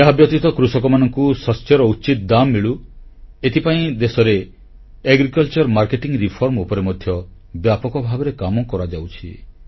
ଏହାବ୍ୟତୀତ କୃଷକମାନଙ୍କୁ ଶସ୍ୟର ଉଚିତ ଦାମ୍ ମିଳୁ ଏଥିପାଇଁ ଦେଶରେ କୃଷି ବିପଣନ ସଂସ୍କାର ଉପରେ ମଧ୍ୟ ବ୍ୟାପକ ଭାବରେ କାମ କରାଯାଉଛି